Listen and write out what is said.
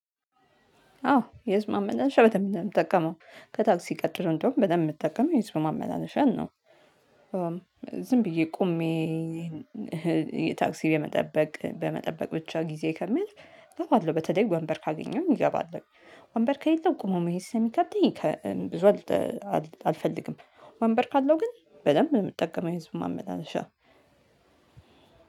አዎ የህዝብ ማመላለሻ በተመለከተ የምጠቀመው ከታክሲ ቀጥሮ እንደውም በደንብ የምጠቀመው የህዝብ ማመላለሻ ነው። ዝም ብዬ ቆሜ ታክሲ የመጠበቅ በመጠበቅ ብቻ ጊዜ ከሚያልፍ እገባለሁ። በተለይ ወንበር ካገኘሁኝ እገባለሁ ወንበር ከሌለው ቁሙ መሄድ ስለሚከብደኝ ከ ብዙ አልፈልግም ወንበር ካለው ግን በደንብ ነው የምጠቀመው። የህዝብ ማመላለሻ